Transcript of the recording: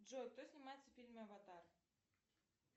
джой кто снимается в фильме аватар